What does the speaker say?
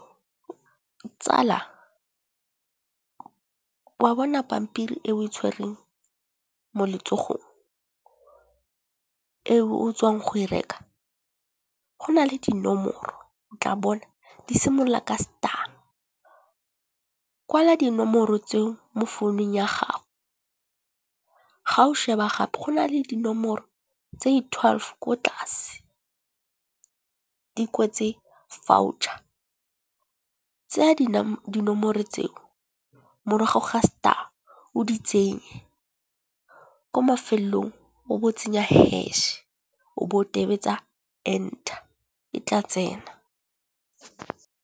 Tsala, wa bona pampiri e o e tshwereng mo letsogong, e o tswang go e reka. Go na le dinomoro o tla bona di simolola ka star. Kwala dinomoro tseo mo founung ya gago, ga o sheba gape go na le dinomoro tsei twelve ko tlase di kwetse voucher. Tseya dinomoro tseo morago ga star o di tsenye ko mafelong o bo tsenya hash o bo o tobetsa enter e tla tsena.